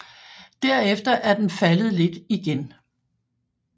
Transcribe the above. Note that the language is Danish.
Derefter er den faldet lidt igen